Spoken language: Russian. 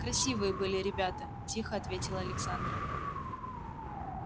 красивые были ребята тихо ответила александра